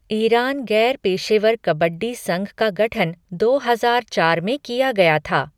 Iran गैर पेशेवर कबड्डी संघ का गठन दो हजार चार में किया गया था।